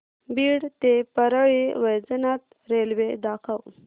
बीड ते परळी वैजनाथ रेल्वे दाखव